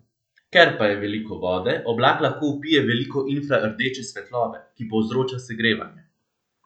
Ker pa je veliko vode, oblak lahko vpije veliko infrardeče svetlobe, ki povzroča segrevanje.